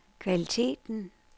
kvaliteten